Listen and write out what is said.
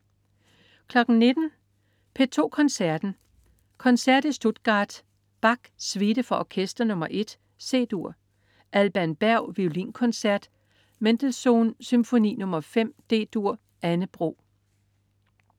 19.00 P2 Koncerten. Koncert i Stuttgart. Bach: Suite for orkester nr. 1, C-dur. Alban Berg: Violinkoncert. Mendelssohn: Symfoni nr. 5, D-dur. Anne Bro